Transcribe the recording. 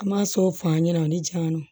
An m'a so f'an ɲɛna ani janw